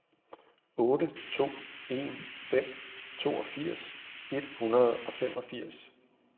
otte to en fem toogfirs et hundrede og femogfirs